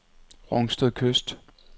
Rungsted Kyst